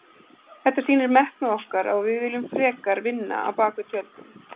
Þetta sýnir metnað okkar og að við viljum frekar vinna á bak við tjöldin.